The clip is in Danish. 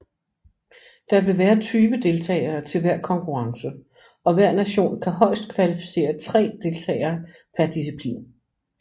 Der vil være 20 deltagere til hver konkurrence og hver nation kan højest kvalificere 3 deltagere per disciplin